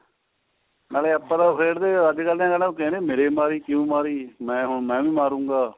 ਨਾਲੇ ਆਪਾਂ ਤਾਂ ਖੇਡੇ ਅੱਜਕਲ ਦੇ ਕਹਿਣਾ ਮੇਰੇ ਮੇਰੀ ਕਿਉਂ ਮਾਰੀ ਮੈਂ ਹੁਣ ਮੈਂ ਵੀ ਮਾਰੂ ਗਾ